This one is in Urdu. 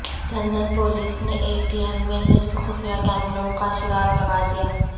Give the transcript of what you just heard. لندن پولیس نے اے ٹی ایم میں نصب خفیہ کیمروں کا سراغ لگالیا